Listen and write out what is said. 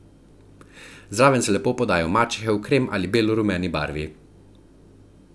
Zraven se lepo podajo mačehe v krem ali belo rumeni barvi.